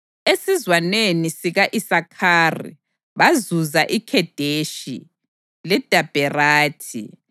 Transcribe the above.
esizwaneni sika-Isakhari bazuza iKhedeshi, leDabherathi,